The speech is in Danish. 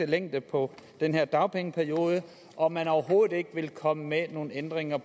længde på den her dagpengeperiode og at man overhovedet ikke vil komme med nogen ændringer